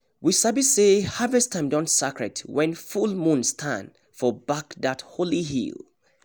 we sabi say harvest time don sacred when full moon stand for back that holy hill